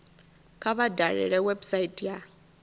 kha vha dalele website ya